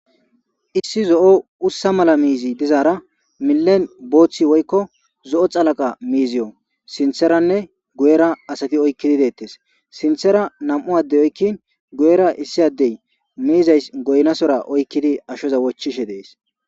issi zo7o ussa mala miizi dizaara millen booththi woykko zo7o xalaqa miiziyo sintheranne guyera asati oykkidi deettes sinthera nam7u adde oykkin guyera issi addey miizays goynasora oykkidi ashoza wochishe dees